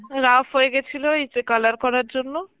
ruff হয়ে গেছিল ওই যে color করার জন্য